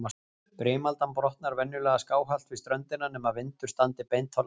Brimaldan brotnar venjulega skáhallt við ströndina, nema vindur standi beint á land.